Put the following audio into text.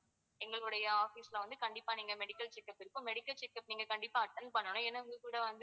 எங்களுடைய office ல வந்து கண்டிப்பா நீங்க medical checkup இருக்கும் medical checkup நீங்க கண்டிப்பா attend பண்ணணும்.